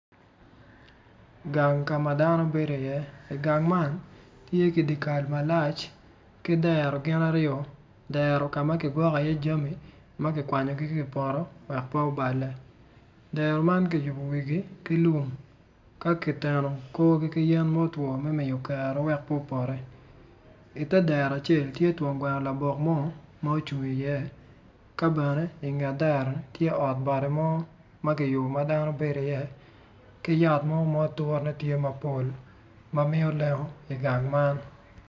Gang ka man dano bedi iye igang man tye ki dyekal malac ki dero gin aryo dero ka ma kigwoko iye jami ma kikwanyogi ki i poto wek pe obale dero man kiyubo wigi ki lum ka kiteno korgi ki yen ma otwo wek pe opoti ite dero acel tye twon gweno labok mo ma ocung iye ka bene inget dero tye ot bati mo ma kiyubo ma dano bedo iye ki yat mo ma aturane tye mapol ma miyo lengo igang man.